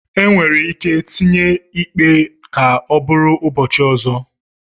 Enwere ike itinye ikpe ka ọ bụrụ ụbọchị ọzọ